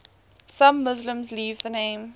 some muslims leave the name